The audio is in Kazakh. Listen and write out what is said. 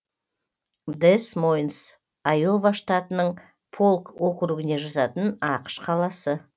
дэс мойнс айова штатының полк округіне жататын ақш қаласы